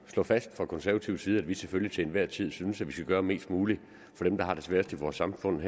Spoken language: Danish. at slå fast fra konservativ side at vi selvfølgelig til enhver tid synes at man skal gøre mest muligt for dem der har det sværest i vores samfund